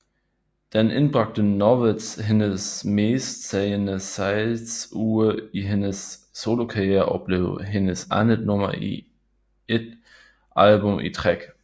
Den indbragte Knowles hendes mest sælgende salgsuge i hendes solokarriere og blev hendes andet nummer 1 album i træk